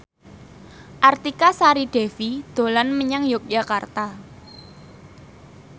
Artika Sari Devi dolan menyang Yogyakarta